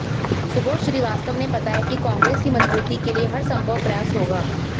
सुबोध श्रीवास्तव ने बताया कि कांग्रेस की मजबूती के लिए हरसंभव प्रयास होगा